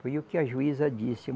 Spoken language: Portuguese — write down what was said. Foi o que a juíza disse.